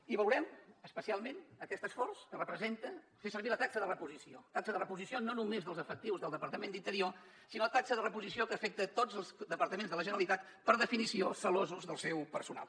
i valorem especialment aquest esforç que representa fer servir la taxa de reposició taxa de reposició no només dels efectius del departament d’interior sinó taxa de reposició que afecta tots els departaments de la generalitat per definició gelosos del seu personal